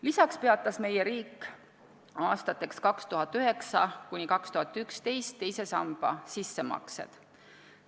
Lisaks peatas meie riik aastatel 2009–2011 teise samba sissemaksed.